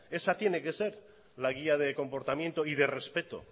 es tiene que ser la guía de comportamiento y de respeto